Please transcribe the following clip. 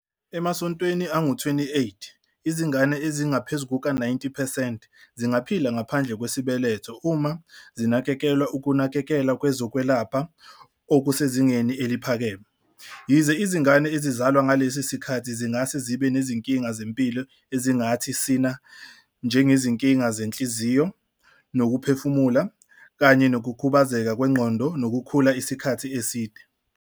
Emasontweni angu-28, izingane ezingaphezu kuka-90 percent zingaphila ngaphandle kwesibeletho uma zinikezwa ukunakekelwa kwezokwelapha okusezingeni eliphakeme, yize izingane ezizalwa ngalesi sikhathi zingase zibe nezinkinga zempilo ezingathi sína njengezinkinga zenhliziyo nokuphefumula kanye nokukhubazeka kwengqondo nokukhula isikhathi eside.